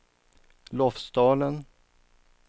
Lofsdalen